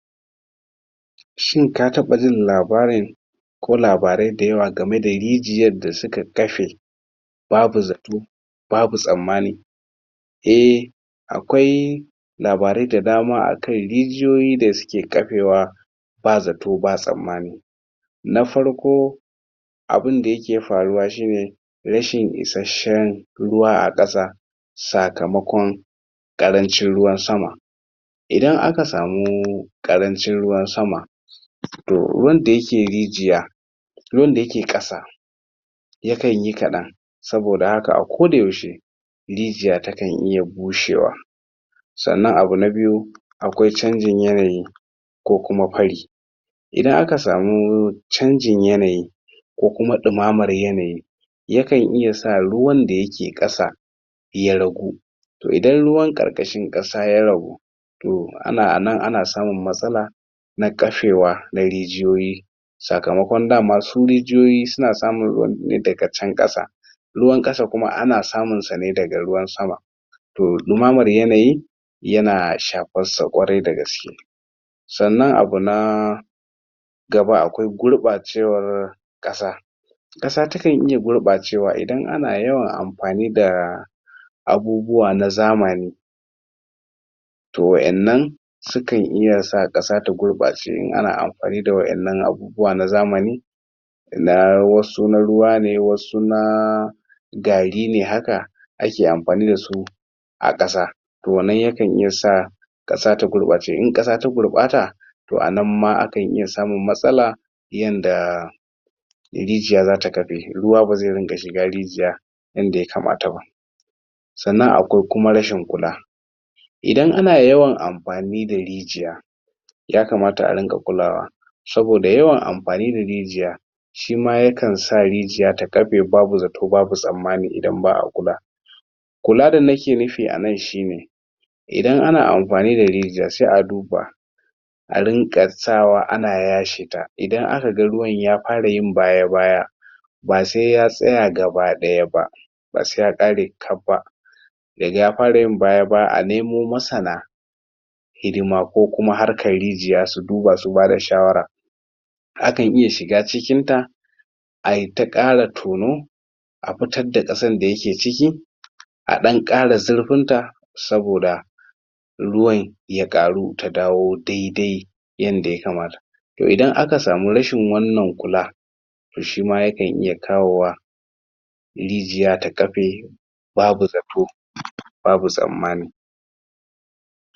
Shin ka taba jin labarin ko labarai dayawa gamme da rijiyar da su ka tafe. babu zato, babu tsammani eh akwai labarai da dama akai rijiyoyi da ke kapewa ba zato, ba tsammani, na farko abun da ya ke faruwa, shi ne rashin ishashen ruwa a kasa na farko abun da ya ke faruwa, shi ne rashin ishashen ruwa a kasa sakkamakon karancin ruwan sama idan a ka samu karrancin ruwan sama toh ruwan da ya ke rijiya ruwan da ya ke kassa ya kan yi kadan saboda haka a ko da yaushe rijiya ta kan iya bushewa tsannan abu na biyu akwai cangin yanayi ko kuma pari idan a ka sammu cangin yanayi ko kuma dummamar yanayi ya kan iya sa ruwan da ya ke kassa ya ragu, toh a na a nan, a na tsamun matsala toh a na a nan, a na tsamun matsala na kafewa, na rijiyoyi sakamakon dama su rijiyoyi su na samun ruwan ne da ga can kasa ruwan kasa kuma ana samun sa ne daga ruwan sama toh dumammar yanayi yana shapar sa kwarai da gaske sannan abu na gaba akwai gurba cewar kasa kasa ta kan iya gurba cewar idan a na yawar amfani da abubuwa na zamani toh waƴannan su kan iya sa kasa ta gurba shi in a na amfani da waƴannan abubuwa na zamani na wassu na ruwa ne, na wassu na garri ne hakka a ke amfani dasu a kassa wannan ya kan iya sa kassa ta gurbacce, in kassa ta gurbatta toh a nan ma akan iya samun matsala yanda rijiya za ta kabe ruwa ba zai ringa shiga rijiya in da ya kamata ba tsannan akwai kuma rashin kulla Idan a na yawan amfani da rijiya ya kamata a ringa kullawa saboda yawan amfani da rijiya shi ma ya kan sa rijiya ta kafe babu zato, babu tsamani idan baa kulla. Kulla da na ke nufi a nan shi ne idan a na amfani da rijiya, sai a duba a rinka tsawa a na yasheta. Idan a ka gan ruwan ya fara yin baya baya ba sai ya tsaya gabadaya ba ba sai ya kare kab ba Da ga ya fara yin baya-baya, a nemo massana hidima ko kuma harkar rijiya su duba su ba da shawara a kan iya shiga cikin ta a yi ta kara tonu a fitar da kasan da ya ke ciki a dan kara zarfin ta saboda ruwan, ya karu ta dawo daidai yan da ya kamata toh idan a ka sami rashin wannan kulla toh shi ma ya kan iya kawowa rijiya ta kape babu zato babu tsammani